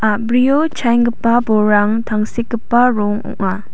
a·brio chaenggipa bolrang tangsekgipa rong ong·a.